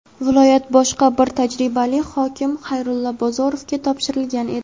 viloyat boshqa bir tajribali hokim – Xayrulla Bozorovga topshirilgan edi.